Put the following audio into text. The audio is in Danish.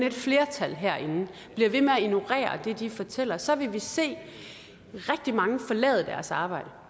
et flertal herinde bliver ved med at ignorere det de fortæller så vil vi se rigtig mange forlade deres arbejde